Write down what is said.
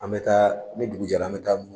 An bɛ taa ni dugu jɛra an bɛ taa